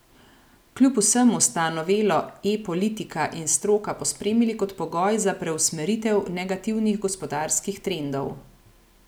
Kljub vsemu sta novelo E politika in stroka pospremili kot pogoj za preusmeritev negativnih gospodarskih trendov.